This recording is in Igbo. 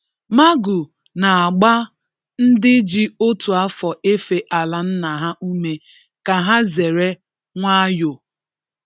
Magu n'agba ndị ji otu afọ efe ala nna ha ume, ka ha zere wayo.